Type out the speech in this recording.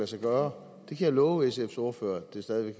sig gøre jeg kan love sfs ordfører at det stadig